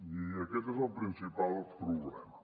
i aquest és el principal problema